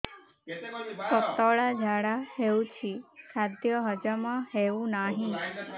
ପତଳା ଝାଡା ହେଉଛି ଖାଦ୍ୟ ହଜମ ହେଉନାହିଁ